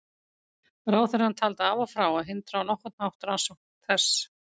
Ráðherrann taldi af og frá að hindra á nokkurn hátt rannsókn þess.